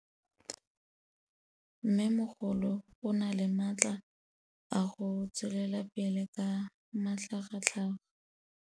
Mmêmogolo o na le matla a go tswelela pele ka matlhagatlhaga.